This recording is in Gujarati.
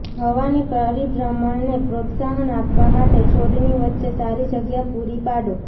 હવાની પરિભ્રમણને પ્રોત્સાહન આપવા માટે છોડની વચ્ચે સારી જગ્યા પૂરી પાડો